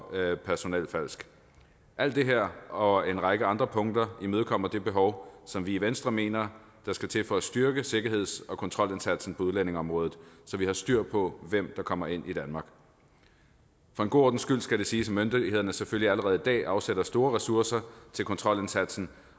personelfalsk alt det her og en række andre punkter imødekommer det behov som vi i venstre mener der skal til for at styrke sikkerheds og kontrolindsatsen på udlændingeområdet så vi har styr på hvem der kommer ind i danmark for en god ordens skyld skal det siges at myndighederne selvfølgelig allerede i dag afsætter store ressourcer til kontrolindsatsen